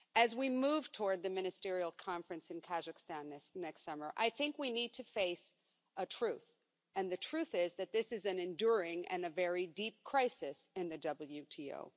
As we move toward the ministerial conference in Kazakhstan next summer, I think we need to face a truth, and the truth is that this is an enduring and a very deep crisis in the WTO.